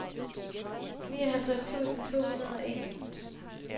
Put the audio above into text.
nioghalvtreds tusind to hundrede og en